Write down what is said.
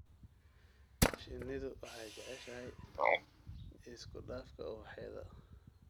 Shinnidu waxay jeceshahay isku dhafka ubaxyada.